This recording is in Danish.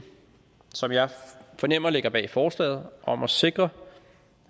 som jeg fornemmer ligger bag forslaget om at sikre